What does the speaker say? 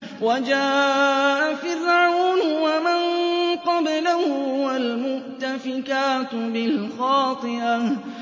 وَجَاءَ فِرْعَوْنُ وَمَن قَبْلَهُ وَالْمُؤْتَفِكَاتُ بِالْخَاطِئَةِ